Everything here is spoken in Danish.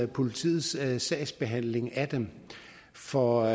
politiets sagsbehandling af dem for